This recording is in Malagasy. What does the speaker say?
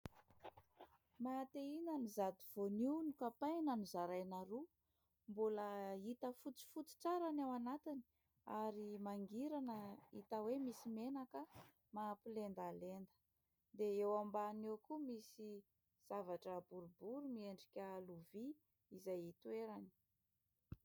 Maha te hihinana izato voanio nokapaina nozaraina roa. Mbola hita fotsifotsy tsara ny ao anatiny ary mangirana hita hoe misy menaka mampilendalenda. Dia eo ambany eo koa misy zavatra boribory miendrika lovia izay itoerany.